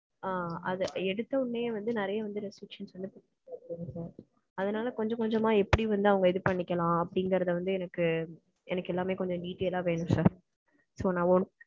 ஆஹ் அது எடுத்த உடனே வந்து நெறைய வந்து restrictions இருக்கு sir. சரிங்களா? அதனால கொஞ்ச கொஞ்சமா எப்படி வந்து அவங்க இது பண்ணிக்கலாம் அப்டீங்கறத வந்து எனக்கு எல்லாமே கொஞ்சம் detail ஆ வேணும் sir so, நா ஒன்~